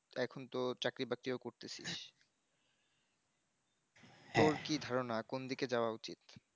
তো এখন ত চাকরি বাকরিও করতেছিস তোর কি ধারনা কোন দিকে যাউয়া উচিত